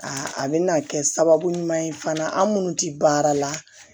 Aa a bɛna kɛ sababu ɲuman ye fana an minnu tɛ baara la